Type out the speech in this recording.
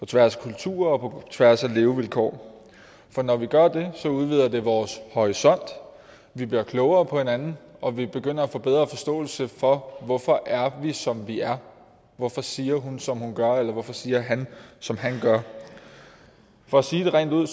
tværs af kulturer og på tværs af levevilkår for når vi gør det udvider det vores horisont vi bliver klogere på hinanden og vi begynder at få bedre forståelse for hvorfor er vi som vi er hvorfor siger hun som hun gør eller hvorfor siger han som han gør for at sige det rent ud